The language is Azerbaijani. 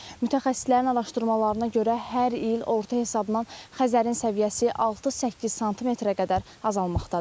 Mütəxəssislərin araşdırmalarına görə hər il orta hesabla Xəzərin səviyyəsi 6-8 sm-ə qədər azalmaqdadır.